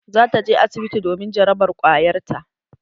Za ta je asibiti domin jarabar ƙwayar ta.